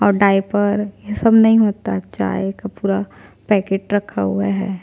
और डायपर ये सब नहीं होता है चाय का पूरा पैकेट रखा हुआ है।